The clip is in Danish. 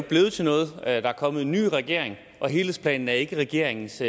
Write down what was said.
blevet til noget der er kommet en ny regering og helhedsplanen er ikke regeringens